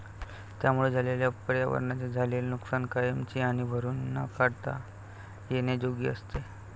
त्यामुळे झालेल्या पर्यावरणाचे झालेले नुकसान कायमची आणि भरून न काढता येण्याजोगी असते